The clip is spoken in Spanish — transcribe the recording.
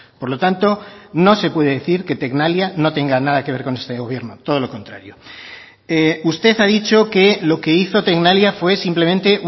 por lo tanto no se puede decir que tecnalia no tenga nada que ver con este gobierno todo lo contrario usted ha dicho que lo que hizo tecnalia fue simplemente